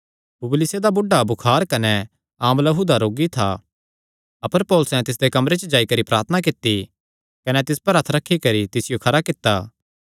पुबलियुसे दा बुढ़ा बुखार कने आँव लहू दा रोगी था अपर पौलुसैं तिसदे कमरे च जाई करी प्रार्थना कित्ती कने तिस पर हत्थ रखी करी तिसियो खरा कित्ता